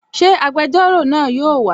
Ṣé agbẹjọ́rò náà yóò wà?